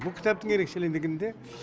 бұл кітаптың ерекшелігінде